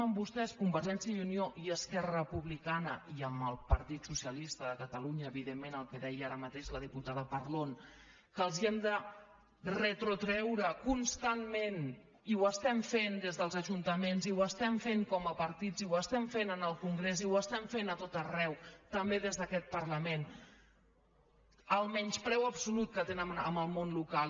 amb vostès convergència i unió i esquerra republicana i amb el partit socialista de catalunya evidentment el que deia ara mateix la diputada parlon que els hem de retreure constantment i ho fem des dels ajuntaments i ho fem com a partits i ho fem en el congrés i ho fem a tot arreu també des d’aquest parlament el menyspreu absolut que tenen amb el món local